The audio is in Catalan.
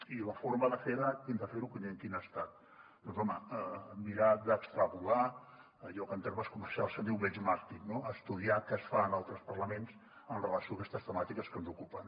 i la forma de fer ho quina ha estat doncs home mirar d’extrapolar allò que en termes comercials se’n diu benchmarking no estudiar què es fa en altres parlaments amb relació a aquestes temàtiques que ens ocupen